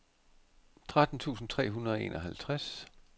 tretten tusind tre hundrede og enoghalvtreds